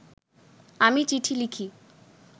আমি চিঠি লিখি